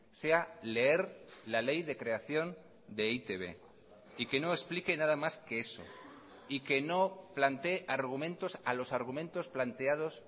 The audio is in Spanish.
sea leer la ley de creación de e i te be y que no explique nada más que eso y que no planteé argumentos a los argumentos planteados